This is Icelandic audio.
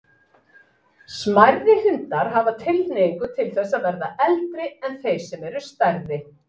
Smærri hundar hafa tilhneigingu til þess að verða eldri en þeir sem eru stærri.